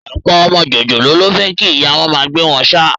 Ọ̀pọ̀ ọmọ jòjòló ló fẹ́ kí ìyá wọn máa gbé wọn ṣáá